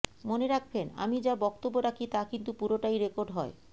মনে রাখবেন আমি যা বক্তব্য রাখি তা কিন্তু পুরোটাই রেকর্ড হয়